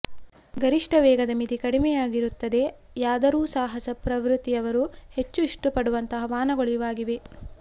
ಗರಿಷ್ಠ ವೇಗದ ಮಿತಿ ಕಡಿಮೆಯಾಗಿರುತ್ತದೆಯಾದರೂ ಸಾಹಸ ಪ್ರವೃತ್ತಿಯವರು ಹೆಚ್ಚು ಇಷ್ಟಪಡುವಂತಹ ವಾಹನಗಳು ಇವಾಗಿವೆ